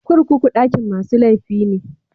Kurkuku dakin masu laifi ne.